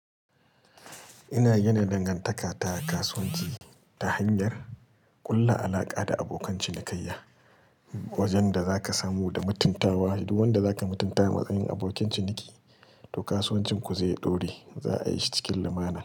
Ina yana dangantaka ta kasuwanci ta hanyar ƙulla alaƙa da abokan cinikayya, wajen da za ka samu da mutuntawa. Duk wanda za ka mutunta a matsayin abokin ciniki, to kasuwancin ku zai ɗore, za a yi shi cikin lamuna.